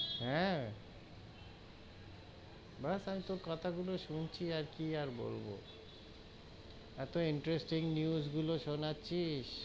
হেঁ, বস আমি তোর কথা গুলো শুনছি, আর কি আর বলবো এতো interesting news গুলো সোনাচ্ছিস,